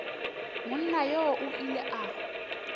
monna yoo o ile a